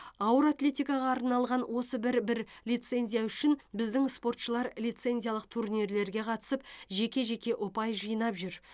ауыр атлетикаға арналған осы бір бір лицензия үшін біздің спортшылар лицензиялық турнирлерге қатысып жеке жеке ұпай жинап жүр